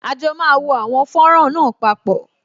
À jọ máa wo àwọn fọ́nrán náà papọ